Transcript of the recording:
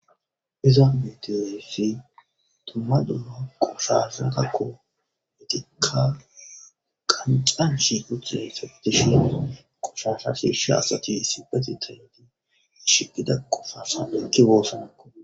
iza meteyoesfi tomma duno qoshasangakko metekka qancanshi ucene safetishiesa qoshasha shish asati isipeti tineti ishigida qoshasa ekki goosanakko